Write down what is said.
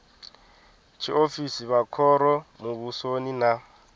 tshiofisi vha khoro muvhusoni na